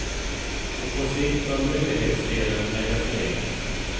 Och på sikt bör myndighetsdelen läggas ned.